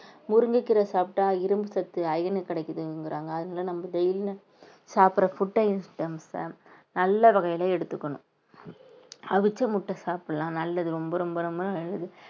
முருங்கைக்கீரை சாப்பிட்டால் இரும்பு சத்து iron க்கு கிடைக்குதுங்குறாங்க அதனால நம்ம daily சாப்பிடுற food அ நல்ல வகையில எடுத்துக்கணும் அவிச்ச முட்டை சாப்பிடலாம் நல்லது ரொம்ப ரொம்ப ரொம்ப நல்லது